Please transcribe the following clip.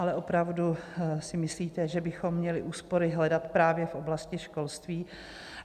Ale opravdu si myslíte, že bychom měli úspory hledat právě v oblasti školství?